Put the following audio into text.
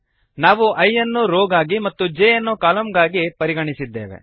ನಾವು i ಅನ್ನು row ಗಾಗಿ ಮತ್ತು j ಯನ್ನು ಕಾಲಮ್ ಗಾಗಿ ಪರಿಗಣಿಸಿದ್ದೇವೆ